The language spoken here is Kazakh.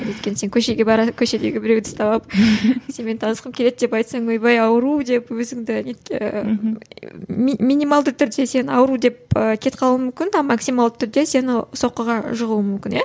өйткені сен көшеге бара көшедегі біреуді ұстап алып сенімен танысқым келеді деп айтсаң ойбай ауру деп өзіңді минималды түрде сені ауру деп кетіп қалуы мүмкін а максималды түрде сені соққыға жығуы мүмкін иә